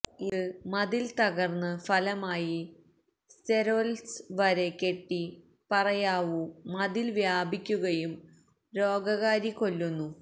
ഇത് മതിൽ തകർന്ന് ഫലമായി സ്തെരൊല്സ് വരെ കെട്ടി പറയാവൂ മതിൽ വ്യാപിക്കുകയും രോഗകാരി കൊല്ലുന്നു